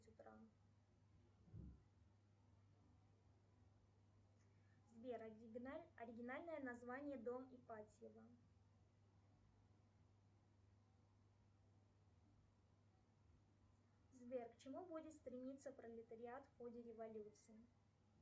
сбер оригинальное название дом ипатьева сбер к чему будет стремиться пролетариат в ходе революции